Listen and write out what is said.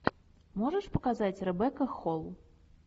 можешь показать ребекка холл